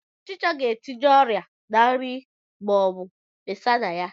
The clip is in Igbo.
Ọchicha ga-etinye ọrịa ná nri ma o besa na ya